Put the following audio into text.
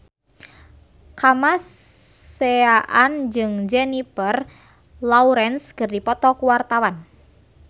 Kamasean jeung Jennifer Lawrence keur dipoto ku wartawan